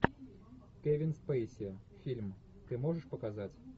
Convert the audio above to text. кевин спейси фильм ты можешь показать